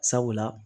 Sabula